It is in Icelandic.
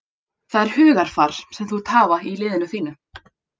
Það er hugarfar sem þú vilt hafa í liðinu þínu.